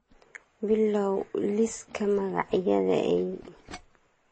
bilow liiska magacyada eey